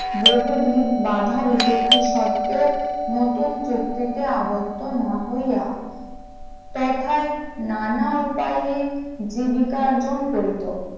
বহুবিধ বাধা বিপত্তির সত্বেও নতুন চুক্তিতে আবদ্ধ না হইয়া, তথা নানা উপায়ে জীবিকা অর্জন করিতো ।